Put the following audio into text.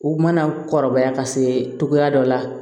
U mana kɔrɔbaya ka se togoya dɔ la